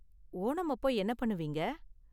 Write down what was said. ஓணம் அப்போ என்ன பண்ணுவீங்க?